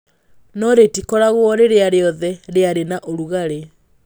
No rĩtikoragwo rĩrĩa rĩothe rĩarĩ na ũrugarĩ.